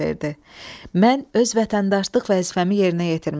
"Mən öz vətəndaşlıq vəzifəmi yerinə yetirmişəm.